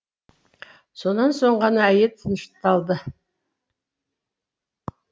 сонан соң ғана әйел тынышталды